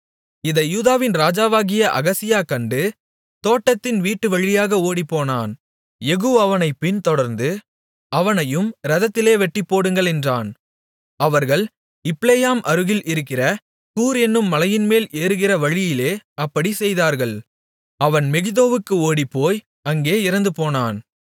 இதை யூதாவின் ராஜாவாகிய அகசியா கண்டு தோட்டத்தின் வீட்டுவழியாக ஓடிப்போனான் யெகூ அவனைப் பின்தொடர்ந்து அவனையும் இரதத்திலே வெட்டிப்போடுங்கள் என்றான் அவர்கள் இப்லேயாம் அருகில் இருக்கிற கூர் என்னும் மலையின்மேல் ஏறுகிற வழியிலே அப்படிச் செய்தார்கள் அவன் மெகிதோவுக்கு ஓடிப்போய் அங்கே இறந்துபோனான்